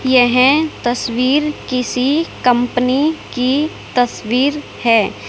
येह तस्वीर किसी कंपनी की तस्वीर है।